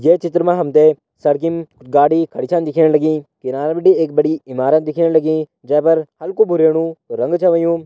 ये चित्र मा हम त सड़कीम गाड़ी खड़ी छन दिखेण लगीं किनारा बिटी एक बड़ी इमारत दिखेण लगीं जै पर हल्कू भुरयेणु रंग छ होयुं।